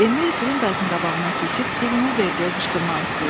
Emil Qrundaysın qabağına keçib, pulumu verdi deyə qışqırmaq istəyirdi.